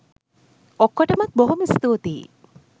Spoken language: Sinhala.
ඔක්කොටමත් බොහොම ස්තූතියි.